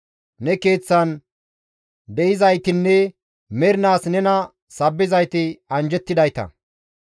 Ne Keeththan de7izaytinne mernaas nena sabbizayti anjjettidayta.